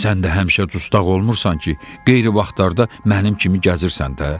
Sən də həmişə dustaq olmursan ki, qeyri vaxtlarda mənim kimi gəzirsən də.